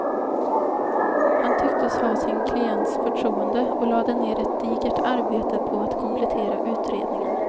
Han tycktes ha sin klients förtroende och lade ned ett digert arbete på att komplettera utredningen.